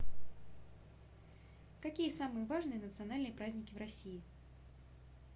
какие самые важные национальные праздники в россии